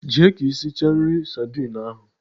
Jee ka isicha nri sardine ahu.